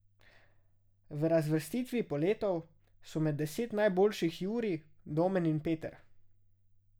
V razvrstitvi poletov so med deset najboljših Jurij, Domen in Peter.